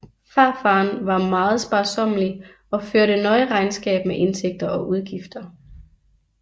Farfaren var meget sparsommelig og førte nøje regnskab med indtægter og udgifter